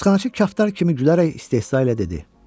Həbsxanaçı kaftar kimi gülərək istehza ilə dedi.